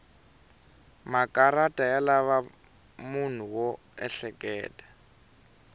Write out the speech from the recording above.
makarata ya lava munhu wo ehleketa